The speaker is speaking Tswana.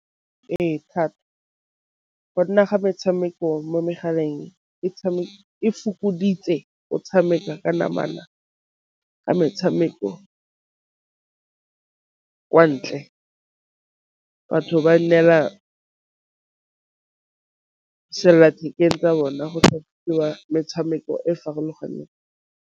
Ee, thata gonne ga metshameko mo megaleng e fokoditse o tshameka ka namana, ka metshameko kwa ntle batho ba neela sellathekeng tsa bona metshameko e e farologaneng.